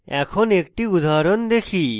এখন একটি উদাহরণ দেখি